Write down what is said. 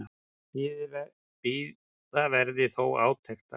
Bíða verði þó átekta.